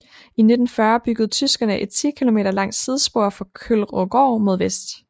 I 1940 byggede tyskerne et 10 km langt sidespor fra Kølvrågaard mod vest